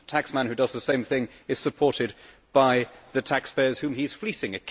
a taxman who does the same thing is supported by the taxpayers whom he is fleecing.